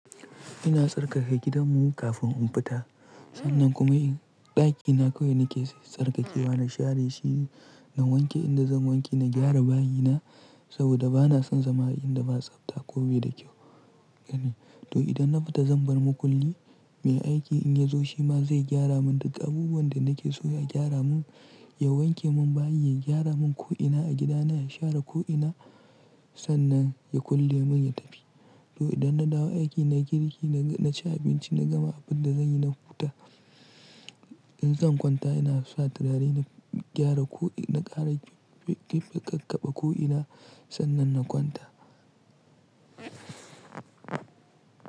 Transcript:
Ina tsarkake gidanmu kafin in fita. Sannan kuma in ɗakina kawai nake, sai tsarkakewa na share, shi na wanke inda zan wanke, na gyara bayina saboda bana son zama a inda ba tsafta ko bai da kyau bane. To idan na fita zan bar makulli, mai aiki in ya zo shi ma zai gyara min duk abubuwan da nake so ya gyara mun, ya wanke mun bayi, ya gyara mun ko'ina a gida na, ya share ko'ina sannan ya kulle mun ya tafi. To idan na dawo aiki na girki, na ci abinci, na gama abin da zanyi na huta. In zan kwanta ina sa turare na gyara ko'ina, na ƙara ɗimɓi ƙaƙƙaba ko'ina sannan na kwanta.